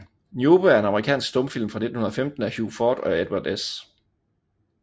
Niobe er en amerikansk stumfilm fra 1915 af Hugh Ford og Edwin S